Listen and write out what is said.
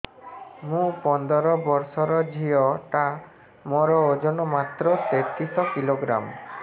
ମୁ ପନ୍ଦର ବର୍ଷ ର ଝିଅ ଟା ମୋର ଓଜନ ମାତ୍ର ତେତିଶ କିଲୋଗ୍ରାମ